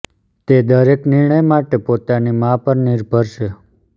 તે દરેક નિર્ણય માટે પોતાની મા પર નિર્ભર છે